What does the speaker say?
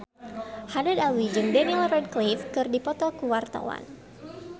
Haddad Alwi jeung Daniel Radcliffe keur dipoto ku wartawan